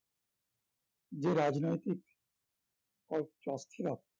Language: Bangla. যে রাজনৈতিক অ~ অস্থির ভাব